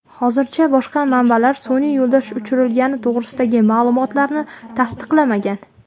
Hozircha boshqa manbalar sun’iy yo‘ldosh uchirilgani to‘g‘risidagi ma’lumotlarni tasdiqlamagan.